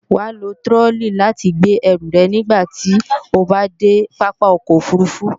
Wàá lo tirọlí láti gbé ẹrù rẹ̀ nígbàti o bá dé Pápá ọkọ̀ òfurufú